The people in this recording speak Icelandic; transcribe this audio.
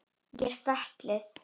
Ég er fötluð.